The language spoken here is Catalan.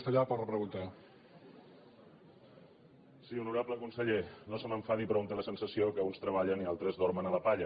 sí honorable conseller no se m’enfadi però un té la sensació que uns treballen i altres dormen a la palla